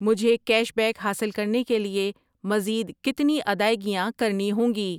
مجھے cash back حاصل کرنے کے لیے مزید کتنی ادائیگیاں کرنی ہوں گی؟